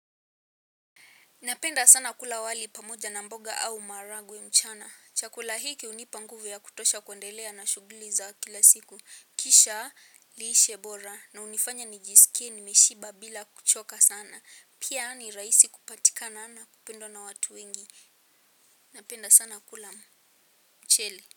Napenda sana kula wali pamoja na mboga au maharagwe mchana. Chakula hiki hunipa nguvu ya kutosha kuendelea na shughuli za kila siku. Kisha lishe bora na hunifanya nijisikie nimeshiba bila kuchoka sana. Pia ni rahisi kupatikana na kupendwa na watu wengi. Napenda sana kula mchele.